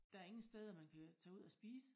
Der ingen steder man kan tage ud at spise